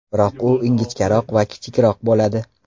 Biroq u ingichkaroq va kichikroq bo‘ladi.